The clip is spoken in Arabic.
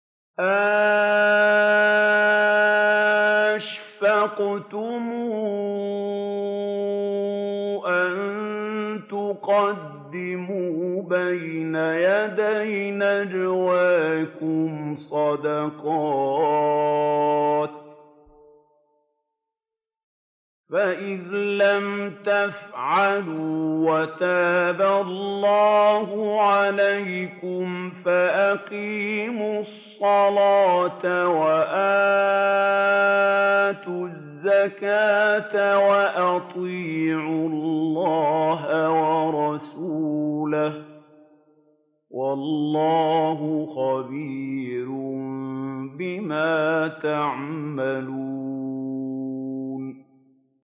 أَأَشْفَقْتُمْ أَن تُقَدِّمُوا بَيْنَ يَدَيْ نَجْوَاكُمْ صَدَقَاتٍ ۚ فَإِذْ لَمْ تَفْعَلُوا وَتَابَ اللَّهُ عَلَيْكُمْ فَأَقِيمُوا الصَّلَاةَ وَآتُوا الزَّكَاةَ وَأَطِيعُوا اللَّهَ وَرَسُولَهُ ۚ وَاللَّهُ خَبِيرٌ بِمَا تَعْمَلُونَ